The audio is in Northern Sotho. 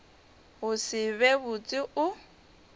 go se be botse o